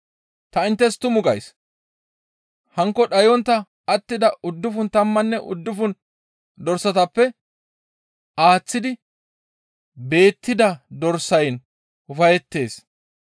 Ta inttes tumu gays; hankko dhayontta attida uddufun tammanne uddufun dorsatappe aaththidi beettida dorsayn ufayettees.